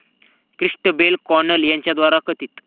Christabel Connell यांच्याद्वारे कथित